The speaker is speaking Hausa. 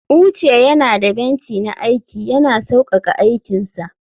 uche yana da benci na aiki, yana sauƙaƙa aikinsa